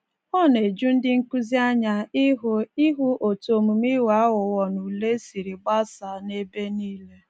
Ọ na-eju ndị nkụzi anya ịhụ ịhụ otú omume ịghọ aghụghọ n’ule siri gbasaa n'ebe nile